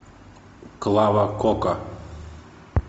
клава кока